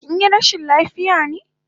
Kinyi rashin lafiya ne?